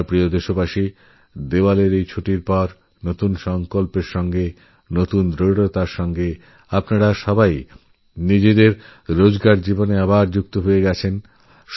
আমারপ্রিয় দেশবাসী দিওয়ালির ছুটির পর আপনারা নতুন সংকল্প নতুন নিষ্ঠায় নিজেদেরদৈনন্দিন জীবনযাত্রায় ফিরে গেছেন